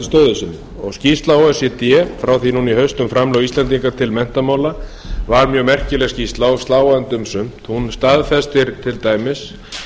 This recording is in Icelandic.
stöðu sinni skýrsla o e c d frá því nú í haust um framlög íslendinga til menntamála var mjög merkileg skýrsla og sláandi um sumt hún staðfestir til dæmis